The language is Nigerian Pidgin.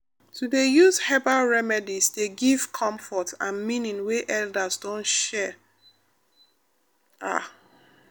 to dey use herbal remedies dey give comfort and meaning wey elders don share pause ah.